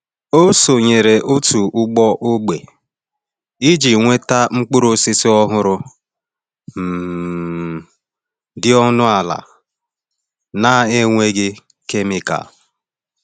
Ọ sonyere òtù ugbo ógbè iji nweta mkpụrụ osisi ọhụrụ, um dị ọnụ ala na-enweghị kemikal.